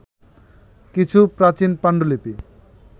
কিছু প্রাচীন পাণ্ডুলিপি